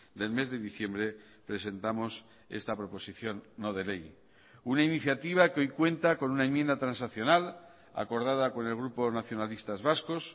del mes de diciembre presentamos esta proposición no de ley una iniciativa que hoy cuenta con una enmienda transaccional acordada con el grupo nacionalistas vascos